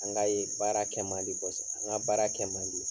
An ka ye baara kɛ mandi kɔsɛ an ka baara kɛ mandi.